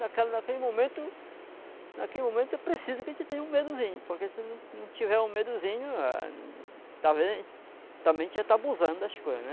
Naquela naquele momento, naquele momento é preciso que a gente tenha um medozinho, porque se não não tiver um medozinho, ah, está vendo, também a gente já está abusando das coisas, né?